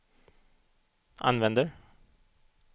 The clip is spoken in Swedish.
använder